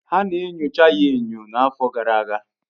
Ana enyocha ya enyo n'afọ gara aga